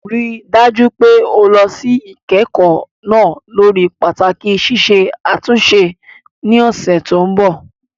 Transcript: Rí i dájú pé o lọ sí ìkẹ́kọ̀ọ́ náà lórí pàtàkì ṣíṣe àtúnṣe ní ọ̀sẹ̀ tó ń bọ̀.